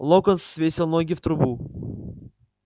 локонс свесил ноги в трубу